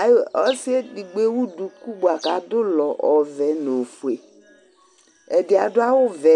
ayo ɔssi edigbo ewũ dũkũ bua kadũlɔ ɔvɛ nɔ ofué ɛdï adʊ awʊ ɔvɛ